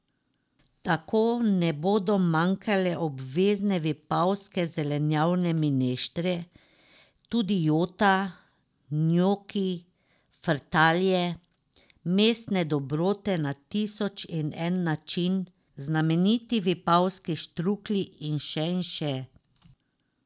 Tako ne bodo manjkale obvezne vipavske zelenjavne mineštre, tudi jota, njoki, frtalje, mesne dobrote na tisoč in en način, znameniti vipavski štruklji in še in še.